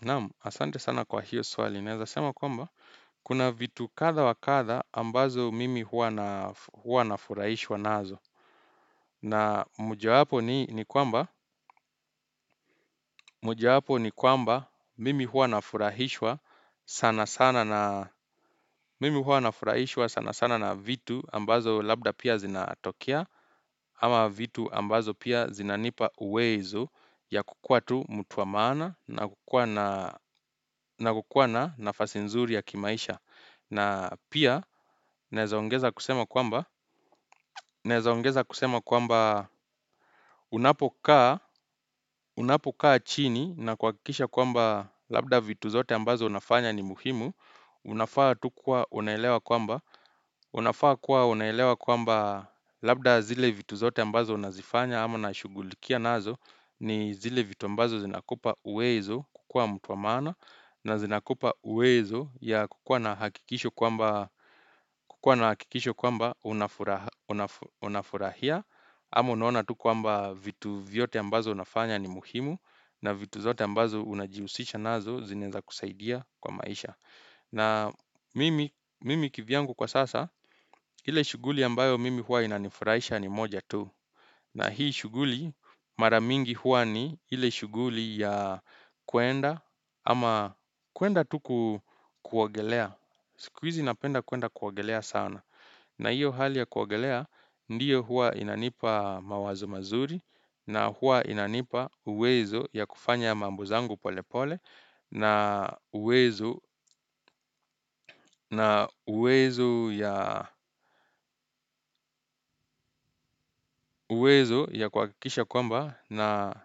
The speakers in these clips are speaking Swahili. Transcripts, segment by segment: Naam, asante sana kwa hiyo swali. Naeza sema kwamba, kuna vitu kadha wakatha ambazo mimi huwa nafurahishwa nazo. Na muja hapo ni kwamba mimi hua nafurahishwa sana sana na vitu ambazo labda pia zinatokia, Ama vitu ambazo pia zinanipa uwezo ya kukua tu mutu wamaana na kukua na nafasi nzuri ya kimaisha na pia nezaongeza kusema kwamba unapokaa chini na kwa kikisha kwamba labda vitu zote ambazo unafanya ni muhimu Unafaa tukua unaelewa kwamba unafaa kuwa unaelewa kwamba labda zile vitu zote ambazo unazifanya ama na shugulikia nazo ni zile vitu mbazo zinakupa uwezo kukua mtu wa maana na zinakupa uwezo ya kukua na hakikisho kwamba unafurahia Amo naona tu kwamba vitu vyote ambazo unafanya ni muhimu na vitu zote ambazo unajiusisha nazo zinaeza kusaidia kwa maisha na mimi kivyangu kwa sasa ile shughuli ambayo mimi huwa inanifurahisha ni moja tu na hii shughuli mara mingi hua ni hile shughuli ya kuenda ama kuenda tuku kuwagelea. Sikuizi napenda kuenda kuoagelea sana. Na hiyo hali ya kuwagelea ndiyo hua inanipa mawazo mazuri na hua inanipa uwezo ya kufanya mambuzangu pole pole. Na uwezo ya kwa kikisha kwamba na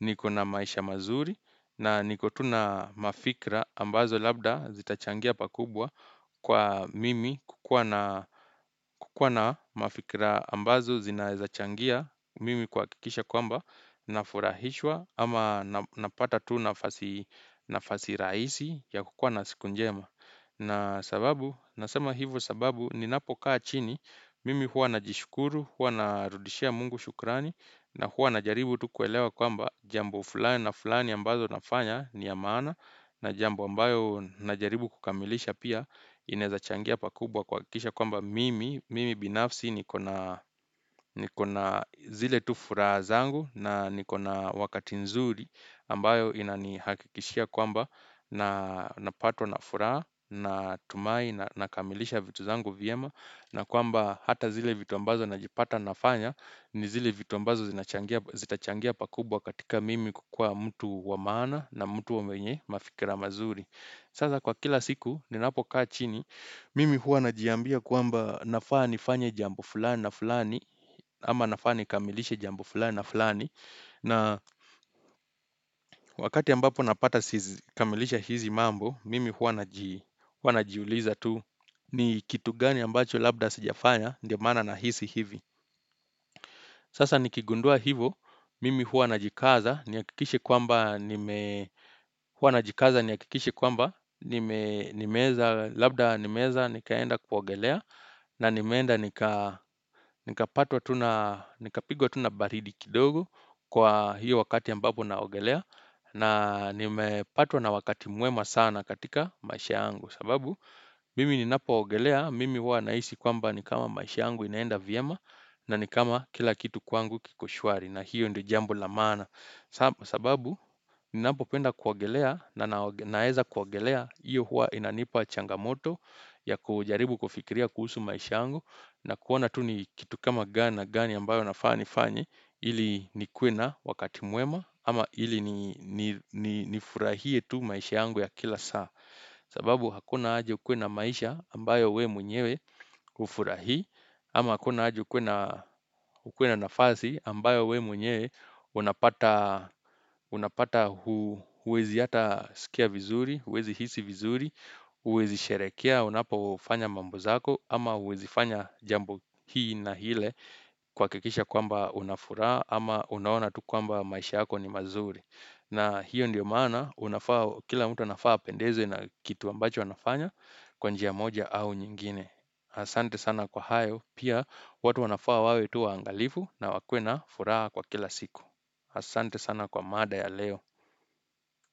niko na maisha mazuri na niko tuna mafikra ambazo labda zitachangia pakubwa kwa mimi Kukuna mafikra ambazo zinaezachangia mimi kwa kikisha kwamba nafurahishwa ama napata tuna nafasi rahisi ya kukwana sikunjema na sababu, nasema hivo sababu, ninapokaa chini, mimi hua na jishukuru, hua na rudishia mungu shukrani, na hua na jaribu tu kuelewa kwamba jambo fulani na fulani ambazo nafanya ni maana, na jambo ambayo na jaribu kukamilisha pia, inezachangia pakubwa kwa kuakisha kwamba mimi, mimi binafsi ni kona zile tufura zangu, na nikona wakati nzuri, ambayo inanihakikishia kwamba, na napatwa na furaha na tumai na kamilisha vitu zangu vyema na kwamba hata zile vitu ambazo najipata nafanya ni zile vitu ambazo zitachangia pakubwa katika mimi kukua mtu wamaana na mtu wamwenye mafikira mazuri sasa kwa kila siku ninapo kaa chini mimi hua najiambia kuamba nafaa nifanya jambo fulani na fulani ama nafani kamilishe jambo fulani na fulani na wakati ambapo napata kamilisha hizi mambo Mimi huwa na jiuliza tu ni kitu gani ambacho labda sijafanya ndio maana na hisi hivi Sasa nikigundua hivo Mimi huwa na jikaza ni akikishi kwamba huwa na jikaza ni akikishi kwamba nimeza Labda nimeza nikaenda kwa ogelea na nimeenda nika Nika patwa tuna baridi kidogo Kwa hiyo wakati ambapo na ogelea na nime patwa na wakati mwema sana katika maisha angu sababu, mimi ni napo waogelea, mimi wa naishi kwamba ni kama maisha angu inaenda vyema na ni kama kila kitu kwangu kiko shwari na hiyo ndo jambo lamana. Sababu, ni napopenda kuogelea na naeza kuwagelea iyo huwa inanipa changamoto ya kujaribu kufikiria kuhusu maisha angu na kuona tu ni kitu kama gana gani ambayo nafani fanyi ili ni kwena wakati muema ama ili ni nifurahie tu maisha angu ya kila saa. Sababu hakuna haja ukuwe na maisha ambayo we mwenyewe ufura hii ama hakuna haji ukuwe na nafasi ambayo we mwenyewe unapata huwezi hata sikia vizuri huwezi hisi vizuri, huwezi sherekea, unapofanya mambo zako Ama huwezi fanya jambo hii na hile kwa kikisha kwamba unafura ama unaona tu kwamba maisha hako ni mazuri na hiyo ndio mana, kila mtu wanafaa pendeze na kitu ambacho wanafanya kwa njia moja au nyingine. Asante sana kwa hayo, pia watu wanafaa wawe tu waangalifu na wakwena furaha kwa kila siku. Asante sana kwa mada ya leo.